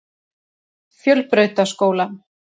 Fjölbrautaskóla